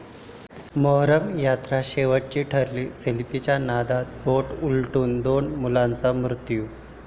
मोहरम यात्रा शेवटची ठरली, सेल्फीच्या नादात बोट उलटून दोन मुलांचा मृत्यू